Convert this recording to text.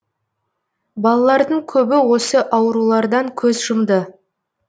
балалардың көбі осы аурулардан көз жұмды